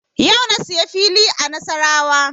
Yau na siya fili a Nasarawa